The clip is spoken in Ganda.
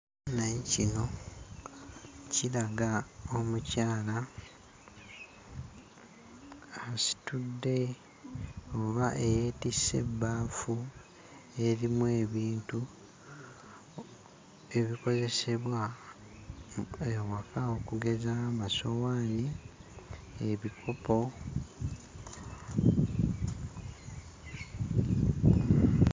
Ekifaananyi kino kiraga omukyala asitudde oba eyeetisse ebbaafu erimu ebintu ebikozesebwa ewaka okugeza, amasowaani, ebikopo...